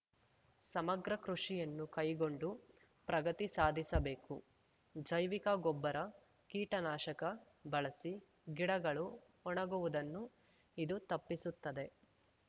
ಸಮಗ್ರ ಕೃಷಿಯನ್ನು ಕೈಗೊಂಡು ಪ್ರಗತಿ ಸಾಧಿಸಬೇಕು ಜೈವಿಕ ಗೊಬ್ಬರಕೀಟನಾಶಕ ಬಳಸಿ ಗಿಡಗಳು ಒಣಗುವುದನ್ನು ಇದು ತಪ್ಪಿಸುತ್ತದೆ